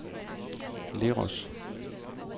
Leros